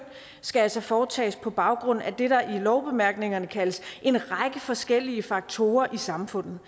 skal altså foretages på baggrund af det der i lovbemærkningerne kaldes en række forskellige faktorer i samfundet